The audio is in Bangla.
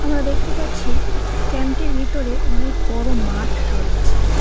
আমরা দেখতে পাচ্ছি ক্যাম্প -টির ভিতরে অনেক বড়ো মাঠ রয়েছে।